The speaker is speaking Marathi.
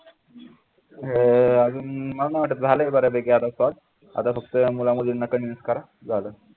अं अजून मला नाही वाटत झालं बऱ्यापैकी आता फक्त मुला मुलींना convince करा झाल